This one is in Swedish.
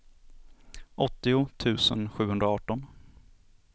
åttio tusen sjuhundraarton